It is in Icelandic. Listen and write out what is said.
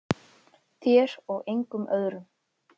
Þér og engum öðrum.